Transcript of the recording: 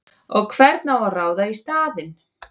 Og hvern á að ráða í staðinn?!